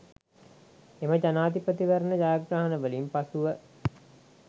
එම ජනාධිපතිවරණ ජයග්‍රහණවලින් පසුව